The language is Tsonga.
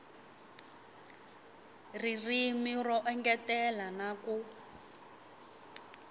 ririmi ro engetela na ku